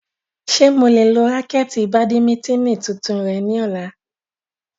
Ṣe mo le lo raketi badimitini tuntun rẹ ni ọla?